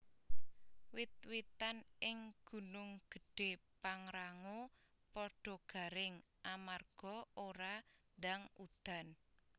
Wit witan ing Gunung Gedhe Pangrango podo garing amarga ora ndang udan